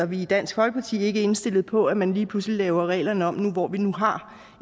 vi i dansk folkeparti er ikke indstillet på at man lige pludselig laver reglerne om nu hvor vi har